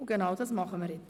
Genau dies tun wir jetzt.